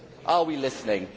Are we listening?